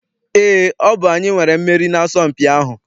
Eé, ọ bụ anyị nwere mmeri n'asọmpi ahụ.